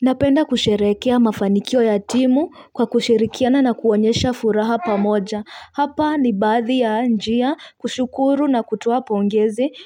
Napenda kusherekea mafanikio ya timu kwa kushirikiana na kuonyesha furaha pamoja hapa ni baadhi ya njia kushukuru na kutoa pongezi